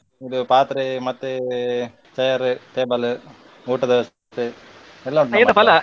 ಇದು ಪಾತ್ರೆ ಮತ್ತೆ chair, table ಊಟದ ವ್ಯವಸ್ಥೆ ಎಲ್ಲ ಉಂಟು .